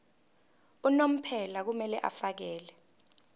unomphela kumele afakele